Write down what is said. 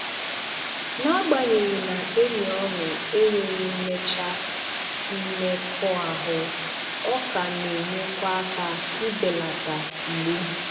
N'agbanyeghị na enyi ọṅụ enweghị mmecha mmekọahụ, ọ ka na-enyekwa aka ị beleta mgbu